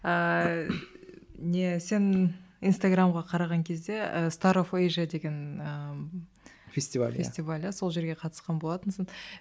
ааа не сен инстаграмға қараған кезде деген ы фестиваль иә фестиваль иә сол жерге қатысқан болатынсың